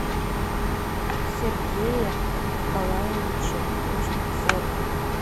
сергее николаевиче кузнецове